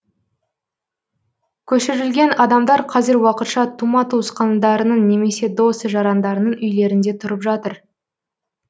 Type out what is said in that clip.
көшірілген адамдар қазір уақытша тума туысқандарының немесе дос жарандарының үйлерінде тұрып жатыр